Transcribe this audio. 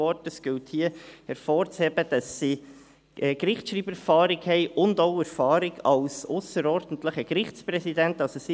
Es gilt hier hervorzuheben, dass sie Gerichtsschreibererfahrung und auch Erfahrung als ausserordentliche Gerichtspräsidenten haben;